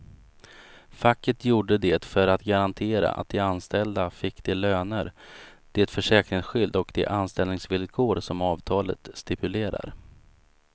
Facket gjorde det för att garantera att de anställda fick de löner, det försäkringsskydd och de anställningsvillkor som avtalet stipulerar.